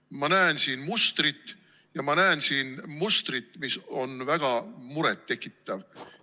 Ma näen siin mustrit ja ma näen siin mustrit, mis on väga muret tekitav.